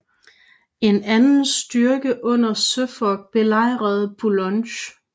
En anden styrke under Suffolk belejrede Boulogne